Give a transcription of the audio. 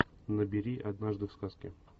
набери однажды в сказке